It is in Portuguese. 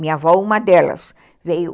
Minha avó, uma delas, veio.